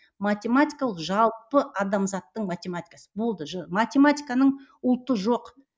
математика ол жалпы адамзаттың математикасы болды математиканың ұлты жоқ